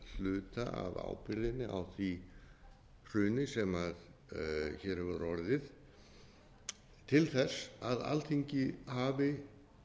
hluta af ábyrgðinni á því hruni sem hér hefur orðið til þess að alþingi hafi